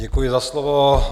Děkuji za slovo.